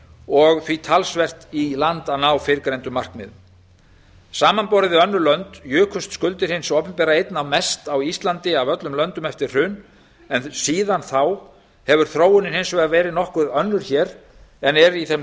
og því talsvert í land að ná fyrrgreindum markmiðum samanborið við önnur lönd jukust skuldir hins opinbera einna mest á íslandi af öllum löndum eftir hrun en síðan þá hefur þróunin hins vegar verið nokkuð önnur hér en er í þeim